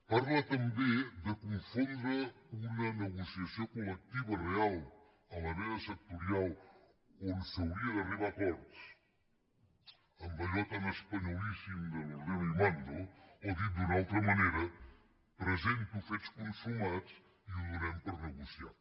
parla també de confondre una negociació col·lectiva real a la mesa sectorial on s’hauria d’arribar a acords amb allò tan espanyolíssim de l’nera presento fets consumats i ho donem per negociat